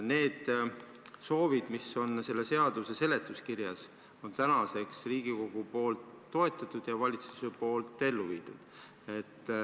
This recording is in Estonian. Need soovid, mis on selle seaduse seletuskirjas, on tänaseks Riigikogu poolt toetatud ja valitsuse poolt ellu viidud.